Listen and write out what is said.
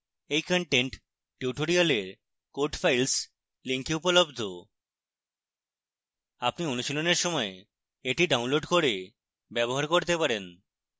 এই content tutorial code files link উপলব্ধ